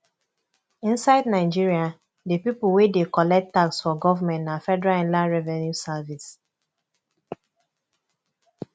inside nigeria di pipo wey dey collect tax for government na federal inland revenue service